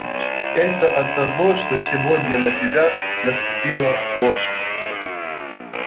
это оттого что сегодня на тебя наступила лошадь